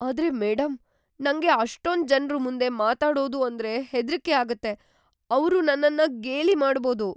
ಆದ್ರೆ ಮೇಡಂ, ನಂಗೆ ಅಷ್ಟೊಂದ್ ಜನ್ರು ಮುಂದೆ ಮಾತಾಡೋದು ಅಂದ್ರೆ ಹೆದ್ರಿಕೆ ಆಗತ್ತೆ. ಅವ್ರು ನನ್ನನ್ನ ಗೇಲಿ ಮಾಡ್ಬೋದು.